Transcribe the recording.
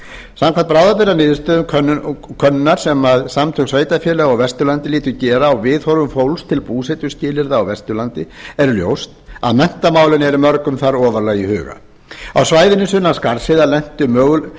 samkvæmt bráðabirgðaniðurstöðum könnunar sem samtök sveitarfélaga á vesturlandi létu gera á viðhorfum fólks til búsetuskilyrða á vesturlandi er ljóst að menntamálin eru mörgum þar ofarlega í huga á svæðinu sunnan skarðsheiðar lentu möguleikar